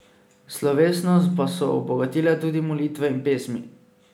Slovesnost pa so obogatile tudi molitve in pesmi.